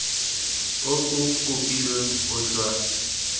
o o kopilweng o tla